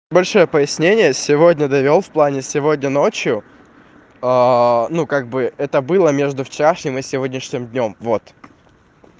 большое пояснение сегодня довёл в плане сегодня ночью ну как бы это было между вчерашними сегодняшним днём вот